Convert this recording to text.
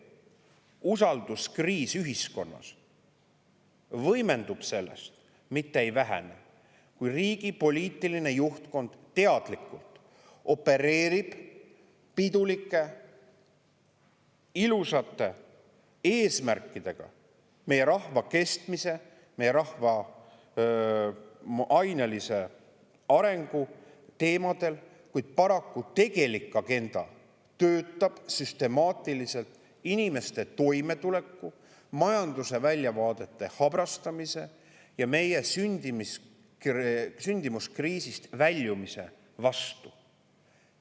Usalduskriis ühiskonnas võimendub sellest, mitte ei vähene, kui riigi poliitiline juhtkond teadlikult opereerib pidulike ilusate eesmärkidega meie rahva kestmise, meie rahva ainelise arengu teemadel, kuid paraku tegelik agenda töötab süstemaatiliselt inimeste toimetuleku, majanduse väljavaadete habrastamise ja meie sündimuskriisist väljumise vastu.